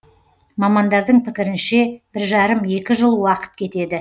мамандардың пікірінше бір жарым екі жыл уақыт кетеді